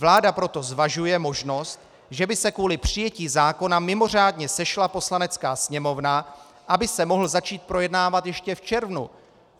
Vláda proto zvažuje možnost, že by se kvůli přijetí zákona mimořádně sešla Poslanecká sněmovna, aby se mohl začít projednávat ještě v červnu." -